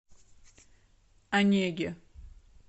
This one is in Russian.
онеге